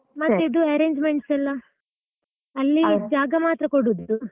ಮತ್ ಇದು arrangements ಎಲ್ಲ ಅಲ್ಲಿ ಜಾಗ ಮಾತ್ರ ಕೊಡುದು.